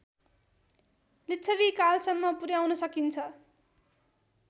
लिच्छविकालसम्म पुर्‍याउन सकिन्छ